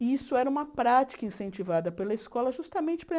E isso era uma prática incentivada pela escola justamente para...